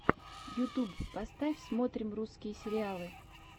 ютуб поставь смотрим русские сериалы